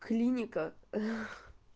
клиника